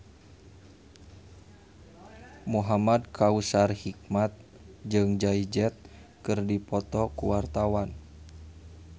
Muhamad Kautsar Hikmat jeung Jay Z keur dipoto ku wartawan